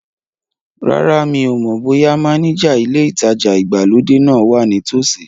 Rárá, mi ò mọ̀ bóyá mánéjà ilé ìtajà ìgbàlódé náà wa ní tòsí